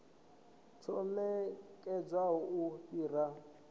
tsho namedzaho u fhira mpimo